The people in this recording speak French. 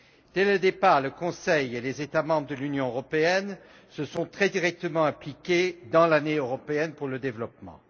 Dès le départ, le Conseil et les États membres de l'Union européenne se sont très directement investis dans l'Année européenne pour le développement.